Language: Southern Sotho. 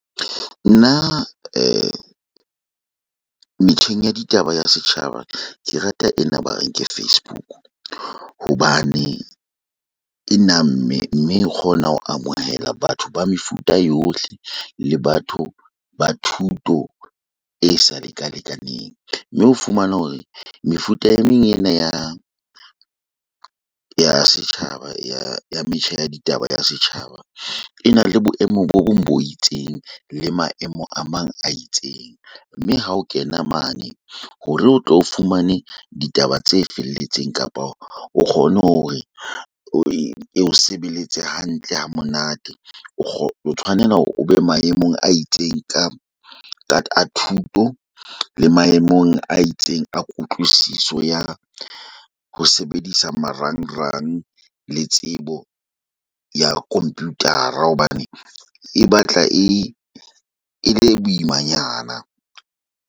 Nna metjheng ya ditaba ya setjhaba. Ke rata ena ba reng ke Facebook. Hobane e namme, mme e kgona ho amohela batho ba mefuta yohle. Le batho ba thuto e sa le ka lekaneng. Mme ho fumana hore mefuta e meng ena ya, ya setjhaba ya ya metjha ya ditaba ya setjhaba. E na le boemo bo bong bo itseng, le maemo a mang a itseng. Mme ha o kena mane, hore o tlo o fumane ditaba tse felletseng kapa o kgone hore o sebeletse hantle ha monate. O tshwanela hore o be maemong a itseng ka ka thuto, le maemong a itseng a kutlwisiso ya ho sebedisa marangrang. Le tsebo ya computer hobane e batla e le boimanyana.